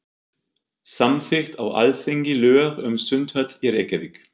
Samþykkt á Alþingi lög um sundhöll í Reykjavík.